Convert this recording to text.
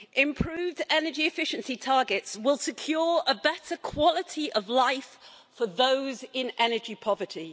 Improved energy efficiency targets will secure a better quality of life for those in energy poverty.